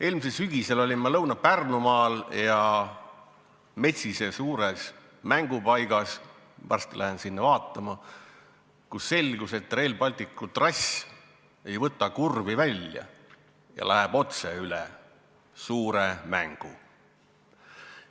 Eelmisel sügisel olin ma Lõuna-Pärnumaal metsise suures mängupaigas – varsti lähen sinna uuesti vaatama –, kus selgus, et Rail Balticu trass ei võta kurvi välja ja läheb otse üle suure mängu.